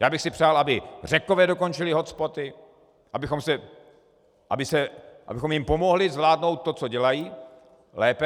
Já bych si přál, aby Řekové dokončili hotspoty, abychom jim pomohli zvládnout to, co dělají, lépe.